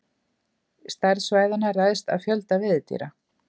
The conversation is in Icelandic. Stærð svæðanna ræðst af fjölda veiðidýra.